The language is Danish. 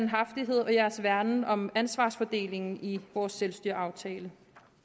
værne om ansvarsfordelingen i vores selvstyreaftale